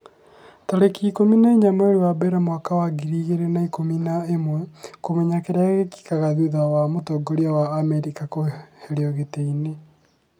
tarĩki ikũmi na inya mweri wa mbere mwaka wa ngiri igĩrĩ na ikũmi na ĩmweKũmenya kĩrĩa gĩkĩkaga thutha wa mũtongoria wa Amerika kũeherio gĩtĩ-inĩ